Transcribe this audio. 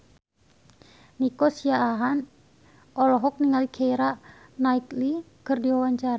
Nico Siahaan olohok ningali Keira Knightley keur diwawancara